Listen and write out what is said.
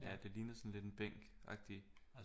Ja det ligner sådan lidt en bænk agtigt